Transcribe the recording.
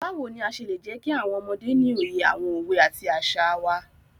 Báwo ni a ṣe lè jẹkí àwọn ọmọdé ní òye àwọn òwe àti àṣà wá?